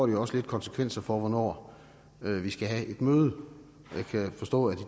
jo også lidt konsekvenser for hvornår vi skal have et møde jeg kan forstå at